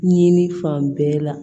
Ɲini fan bɛɛ la